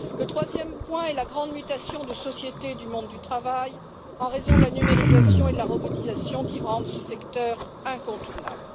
Troisièmement, la grande mutation de société du monde du travail en raison de la numérisation et de la robotisation qui rendent ce secteur incontournable.